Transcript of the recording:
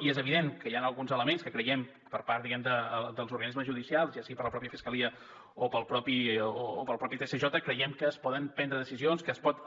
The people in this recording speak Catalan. i és evident que hi han alguns elements que creiem per part diguem ne dels organismes judicials ja sigui per la mateixa fiscalia o pel mateix tsj creiem que es poden prendre decisions que es pot